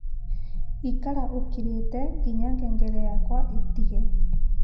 ikara ūkirīte nginya ngengere yakwa ītige